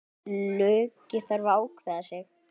Illugi þarf að ákveða sig.